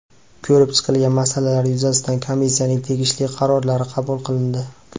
Ko‘rib chiqilgan masalalar yuzasidan Komissiyaning tegishli qarorlari qabul qilindi.